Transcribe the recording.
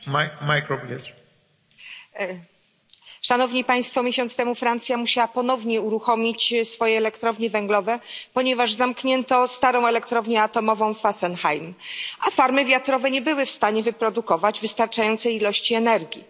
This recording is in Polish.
Panie Przewodniczący! Miesiąc temu Francja musiała ponownie uruchomić swoje elektrownie węglowe, ponieważ zamknięto starą elektrownię atomową Fessenheim, a farmy wiatrowe nie były w stanie wyprodukować wystarczającej ilości energii.